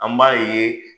An b'a ye